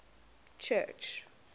church